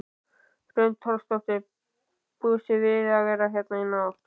Hrund Þórsdóttir: Búist þið við að vera hérna í nótt?